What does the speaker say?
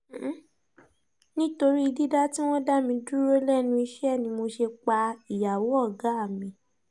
nítorí dídá tí wọ́n dá mi dúró lẹ́nu iṣẹ́ ni mo ṣe pa ìyàwó ọ̀gá mi